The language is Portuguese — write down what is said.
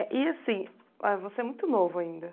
E assim ãh, você é muito novo ainda, mas...